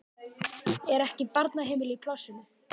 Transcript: Er ekki barnaheimili í plássinu?